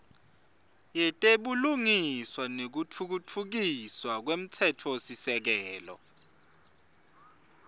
yetebulungiswa nekutfutfukiswa kwemtsetfosisekelo